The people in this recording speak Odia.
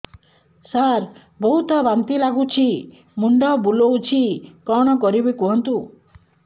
ସାର ବହୁତ ବାନ୍ତି ଲାଗୁଛି ମୁଣ୍ଡ ବୁଲୋଉଛି କଣ କରିବି କୁହନ୍ତୁ